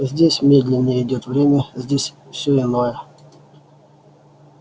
здесь медленнее идёт время здесь всё иное